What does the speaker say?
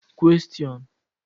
Questions